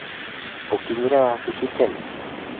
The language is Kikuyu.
ũkinyire wabici tene?